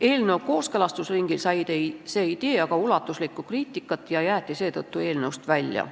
Eelnõu kooskõlastusringil sai see idee aga ulatuslikku kriitikat ja jäeti seetõttu eelnõust välja.